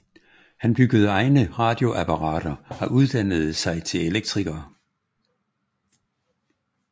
Han byggede egne radioapparater og uddannede sig til elektriker